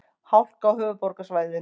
Hálka á höfuðborgarsvæðinu